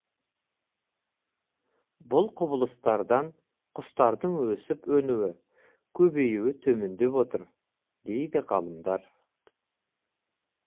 бұл құбылыстардан құстардың өсіп өнуі көбеюі төмендеп отыр дейді ғалымдар